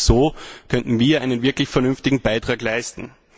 Auch so könnten wir einen wirklich vernünftigen Beitrag leisten.